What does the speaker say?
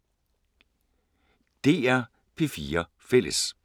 DR P4 Fælles